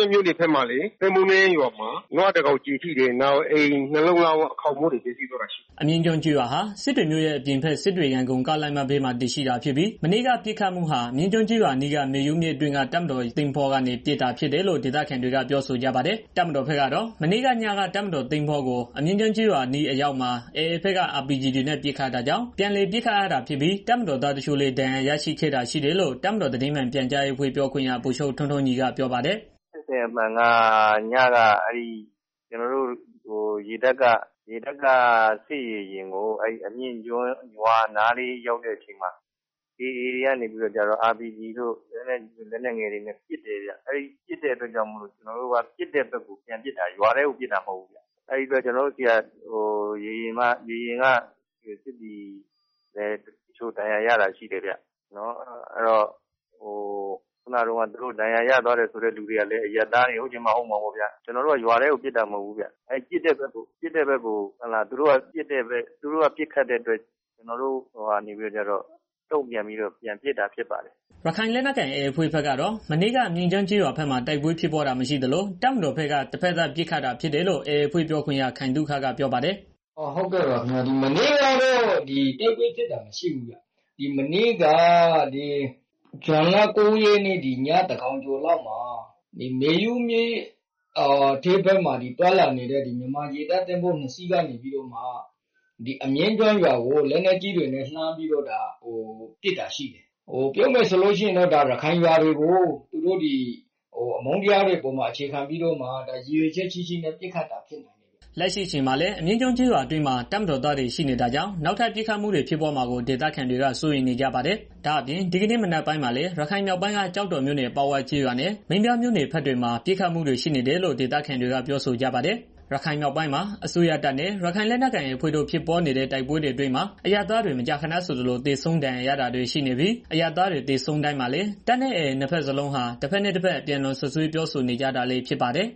ောင် ကျည်ထိတယ်။ ပြီးတော့ နေအိမ် နှစ်လုံး ခေါင်းမိုးတွေ ပျက်စီးသွားတယ်။" အမြင့် ကျေးရွာဟာ စစ်တွေမြို့ရဲ့ အပြင်ဘက် စစ်တွေ ရန်ကုန်ကားလမ်းမဘေးမှာ တည်ရှိတာဖြစ်ပြီး မနေ့က ပစ်ခတ်မှုဟာ အမြင့်ကျွန်းကျေးရွာအနီးက မေယုမြစ်အတွင်းက တပ်မတော်ရေတပ်င်္ဘောကနေ ပစ်ခတ်တာ ဖြစ်တယ်လို့ ဒေသခံတွေက ပြောဆိုကြပါတယ်။ တပ်မတော်ဘက်ကတော့ မနေ့ကညက တပ်မတော်ရေတပ်သင်္ဘောကို အမြင့်ကျွန်းကျေးရွာအနီးအရောက်မှာ AA ဘက်က RPG တွေနဲ့ ပစ်ခတ်တာကြောင့် ပြန်လည်ပစ်ခတ်ရာတာဖြစ်ပြီး တပ်မတော်သားတချို့လည်း ဒဏ်ရာရရှိခဲ့တာရှိတယ်လို့ တပ်မတော်သတင်းမှန်ပြန်ကြားရေးအဖွဲ့ ပြောခွင့်ရ ဗိုလ်ချုပ် ထွန်းထွန်းညီကပြောပါတယ်။ "ဖြစ်စဉ်အမှန်က ညက ကျနော်တို့ စစ်ရေယာဉ်ကို အဲဒီအမြင့်ကျွန်းကျေးရွာနားလေး ရောက်တဲ့ အချိန်မှာ AA တွေကနေပြီးတော့ RPG တို့ လက်နက်ငယ် လက်နက်ကြီးတွေနဲ့ ပြန်ပစ်တာ အဲတာကြောင့် ကျနော်တို့က ပစ်တဲ့ဘက်ကို ပြန်ပစ်တာ။ ရွာထဲကို ပစ်တာ မဟုတ်ဘူးခင်မျာ။ အဲဒီမှာ ကျနော်တို့ ရေယာဉ်က စစ်သည် တချို့လည်း ဒဏ်ရာရတာရှိတယ်ဗျာ။ ဒဏ်ရာရသွားတယ်ဆိုတဲ့ သူတွေကလည်း အရပ်သားတွေ ဟုတ်ချင်မှ ဟုတ်မှာပေါ့ဗျာ။ ကျနော်တို့ကတော့ ရွာထဲကို ပစ်တာ မဟုတ်ဘူး သူတို့ပစ်တဲ့ဘက်ကို ပြန်ပစ်တာပဲဖြစ်ပါတယ်ခင်ဗျာ။" ရခိုင်လက်နက်ကိုင် AA အဖွဲ့ဘက်ကတော့ မနေ့က အမြင့်ကျွန်းကျေးရွာဘက်မှာ တိုက်ပွဲဖြစ်ပွားတာမရှိသလို တပ်မတော်ဘက်က တဘက်သတ်ပစ်ခတ်တာဖြစ်တယ်လို့ AA အဖွဲ့ ပြောခွင့်ရ ခိုင်သုခက ပြောပါတယ်။ "မနေ့ကတော့ တိုက်ပွဲဖြစ်တာ မရှိဘူးခင်ဗျာ။ မနေ့က ညသန်းခေါင်းကျော်လောက်မှာ မေယုမြစ်အတွင်းမှာ သွားလာနေတဲ့ ရေတပ်သဘောၤနှစ်စီးကနေပြီးတော့ အမြင့်ကျွန်းကျေးရွာကို လက်နက်ကြီးတွေနဲ့ လှမ်းပြီးတော့ ပစ်တာရှိတယ်။ ပြောရမယ်ဆိုရင် ဒါ ရခိုင်လူမျိုးတွေနေတဲ့ ရွာတွေကို အမုန်းတရားတွေပေါ်မှာ အခြေခံပြီး ရည်ရွယ်ချက်ရှိရှိ ပစ်ခတ်တာဖြစ်တယ်။" လက်ရှိအချိန်မှာလည်း အမြင့်ကျွန်းကျေးရွာအတွင်းမှာ တပ်မတော်သားတွေ ရှိနေတာကြောင့် နောက်ထပ် ပစ်ခတ်မှုတွေ ဖြစ်ပွားမှာကို ဒေသခံတွေက စိုးရိမ်နေကြပါတယ်။ ဒါအပြင် ဒီကနေ့မနက်ပိုင်းမှာပဲ ရခိုင်မြောက်ပိုင်းက ကျောက်တော်မြို့နယ် အပေါက်ဝ ကျေးရွာနဲ့ မင်းပြားမြို့နယ်ဘက်တွေမှာ ပစ်ခတ်မှုတွေ ရှိနေတယ်လို့ ဒေသခံတွေက ပြောဆိုကြပါတယ်။ ရခိုင်မြောက်ပိုင်းမှာ အစိုးရတပ်နဲ့ AA ရခိုင်လက်နက်ကိုင်အဖွဲ့တို့ ဖြစ်ပွားနေတဲ့ တိုက်ပွဲအတွင်းမှာ အရပ်သားတွေ မကြာခဏဆိုသလို သေဆုံးဒဏ်ရာရတာတွေ ရှိနေပြီး အရပ်သားတွေ သေဆုံးတိုင်းမှာလည်း တပ်နဲ့ AA နှစ်ဘက်စလုံးဟာ တဘက်နဲ့ တဘက် အပြန်အလှန်စွပ်စွဲပြောဆိုနေကြတာလည်း ဖြစ်ပါတယ်